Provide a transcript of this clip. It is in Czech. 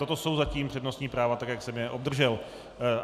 Toto jsou zatím přednostní práva tak, jak jsem je obdržel.